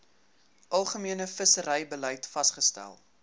algemene visserybeleid vasgestel